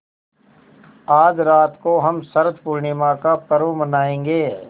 आज रात को हम शरत पूर्णिमा का पर्व मनाएँगे